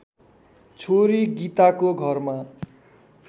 छोरी गीताको घरमा